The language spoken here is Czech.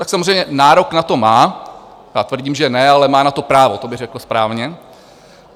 Tak samozřejmě nárok na to má, já tvrdím, že ne, ale má na to právo, to bych řekl správně.